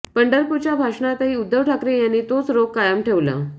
पंढरपूरच्या भाषणातही उद्धव ठाकरे यांनी तोच रोख कायम ठेवला